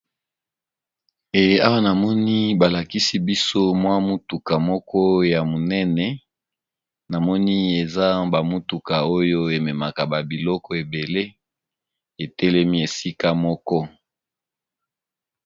Awa namoni balakisi biso mwa mutuka moko ya monene namoni eza bamutuka oyo ememaka babiloko ebele etelemi esika moko.